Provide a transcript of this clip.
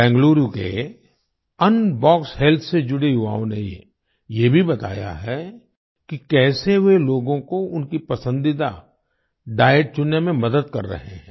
बेंगलुरु के Unbox Health से जुड़े युवाओं ने ये भी बताया है कि कैसे वे लोगों को उनकी पसंदीदा डाइट चुनने में मदद कर रहे हैं